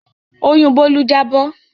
Oyún Bólú jábọ̀